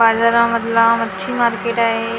बाजारामधला मच्छी मार्केट आहे .